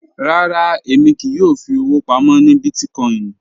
Rárá, èmi kíì yọ́ò fí ọ̀wọ̀ pámọ̀ ní bíìtìkòìn